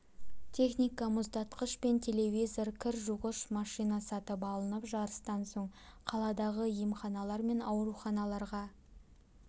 техника мұздатқыш пен телевизор кір жуғыш машина сатып алынып жарыстан соң қаладағы емханалар мен ауруханаларға